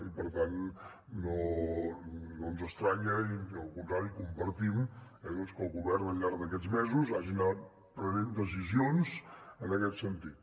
i per tant no ens estranya i al contrari compartim que el govern al llarg d’aquests mesos hagi anat prenent decisions en aquest sentit